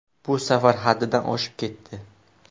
Bu safar haddidan oshib ketdi.